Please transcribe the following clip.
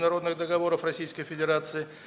народных договоров российской федерации